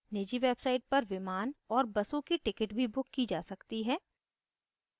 निजी websites पर विमान और buses की टिकट भी book की जा सकती हैं